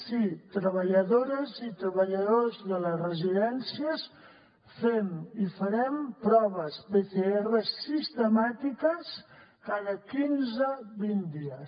sí a treballadores i treballadors de les residències fem i farem proves pcr sistemàtiques cada quinze vint dies